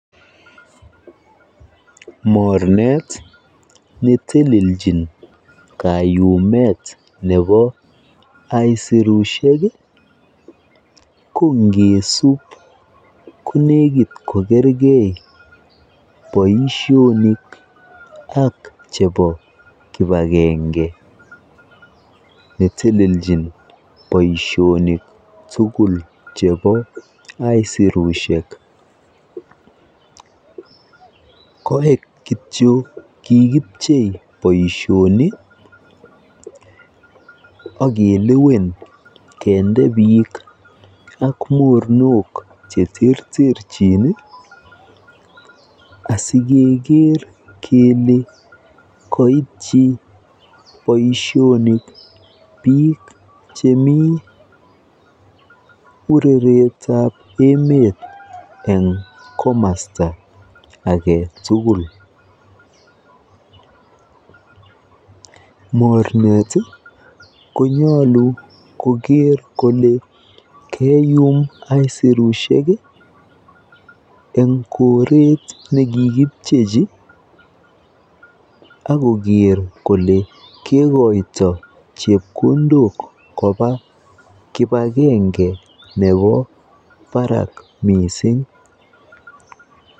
Mornet netelejin kayumet nebo aisurushek ii kongesup konekit kokerkee boisionik ak chebo kipakenge netelechin boisionik tugul chebo aisurushek, koik kityo kikipchei boisionik akelewen kendee biik ak mornok cheterterchin ii asikeker kel koityi boisionik biik chemii kureretab emet eng komosta agetugul, mornet konyolu koker kole keyum aisurushek ii en koret nekikipchechi akoker kole kekoito chepkondok kobaa kipakenge nebo barak missing.